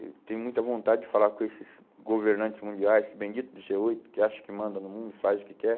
Eu tenho muita vontade de falar com esses governantes mundiais, esse bendito do gê oito, que acha que manda no mundo, faz o que quer.